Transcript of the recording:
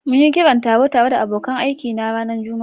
Mun yi kiran taro tare da abokan aikina a ranar Juma'a.